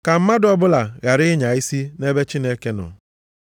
Ka mmadụ ọbụla ghara ịnya isi nʼebe Chineke nọ.